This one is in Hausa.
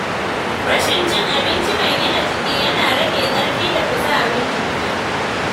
Rashin cin abinci mai gina jiki yana rage ƙarfi da kuzarin jiki.